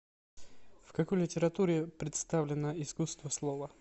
в какой литературе представлено искусство слова